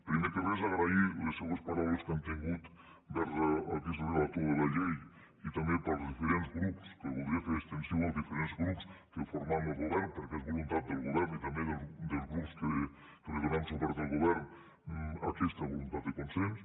primer de res agrair les seues paraules que han tingut vers aquest relator de la llei i també pels diferents grups que el voldria fer extensiu als diferents grups que formem lo govern perquè és voluntat del govern i també dels grups que li donem suport al govern aquesta voluntat del consens